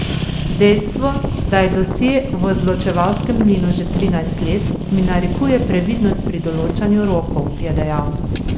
Dejstvo, da je dosje v odločevalskem mlinu že trinajst let, mi narekuje previdnost pri določanju rokov, je dejal.